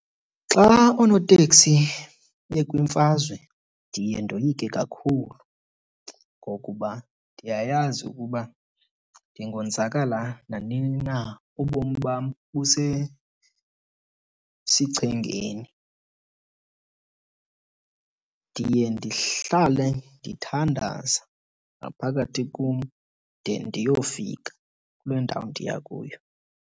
Xa oonoteksi bekwimfazwe ndiye ndoyike kakhulu ngokuba ndiyayazi ukuba ndingonzakala nanini na, ubomi bam busesichengeni. Ndiye ndihlale ndithandaza ngaphakathi kum de ndiyofika kule ndawo ndiya kuyo.